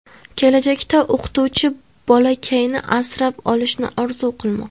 Kelajakda o‘qituvchi bolakayni asrab olishni orzu qilmoqda.